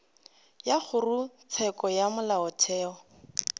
wa kgorotsheko ya molaotheo o